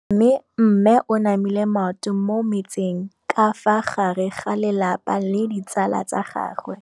Mme o namile maoto mo mmetseng ka fa gare ga lelapa le ditsala tsa gagwe.